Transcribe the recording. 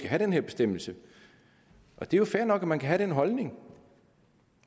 have den her bestemmelse det er jo fair nok at man kan have den holdning